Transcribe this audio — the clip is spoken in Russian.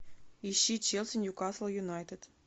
ищи челси ньюкасл юнайтед